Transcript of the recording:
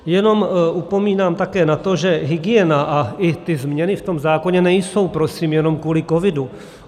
Jenom upomínám také na to, že hygiena a i ty změny v tom zákoně nejsou prosím jenom kvůli covidu.